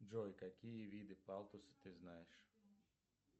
джой какие виды палтуса ты знаешь